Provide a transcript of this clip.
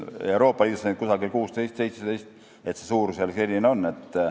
Euroopa Liidus on neid 16–17, suurusjärk on selline.